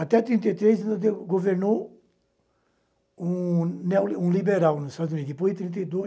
Até trinta e três governou um neoliberal nos Estados Unidos. Depois de trinta e dois